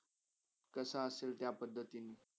कसा असेल त्या पदधतिनि